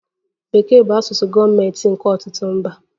Bekee bụ asụsụ gọọmentị nke ọtụtụ mba.